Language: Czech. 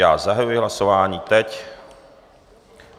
Já zahajuji hlasování teď.